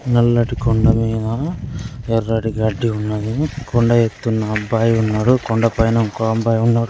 నల్లటి కొండ మీద ఎర్రటి గడ్డి ఉన్నది. కొండ ఎక్కుతూ అబ్బాయి ఉన్నాడు. కొండ పై ఇంకో అబ్బాయి ఉన్నాడు.